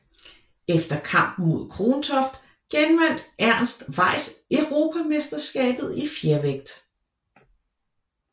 Efter kampen mod Krontoft genvandt Ernst Weiss europamesterskabet i fjervægt